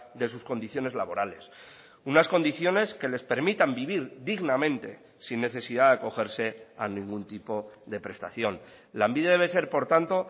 de sus condiciones laborales unas condiciones que les permitan vivir dignamente sin necesidad de acogerse a ningún tipo de prestación lanbide debe ser por tanto